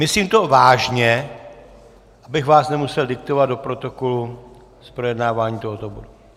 Myslím to vážně, abych vás nemusel diktovat do protokolu z projednávání tohoto bodu.